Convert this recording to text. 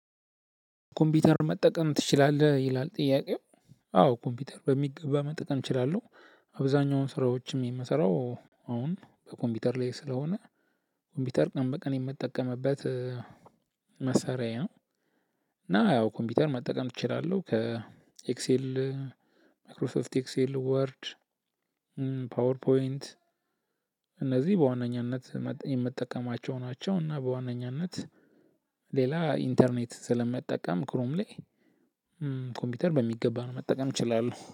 ኮምፒውተር መጠቀም ትችላለህ ይላል ጥያቄው አዎ ኮምፒውተር በሚገባ መጠቀም እችላለሁ አብዛኛውን ስራዎችም የምሰራው አሁን በኮምፒውተር ላይ ስለሆነ ኮምፒውተር ቀን በቀን የምጠቀምበት መሳሪያዬ ነው። እና ያው ኮምፒውተር መጠቀም እችላለሁ ከኤክሴል ማክሮሶፍት ኤክሴል ወርድ ፓወር ፖይንት እነዚህ በዋነኛነት የምትጠቀማቸው ናቸው እና በዋነኛነት ሌላ ኢንተርኔት ስለመጠቀም ክሮም ላይ ኮምፒውተር በሚገባ ነው መጠቀም እችላለሁ።